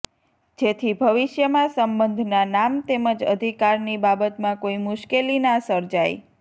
જેથી ભવિષ્યમાં સંબંધના નામ તેમજ અધિકારની બાબતમાં કોઈ મુશ્કેલી ના સર્જાય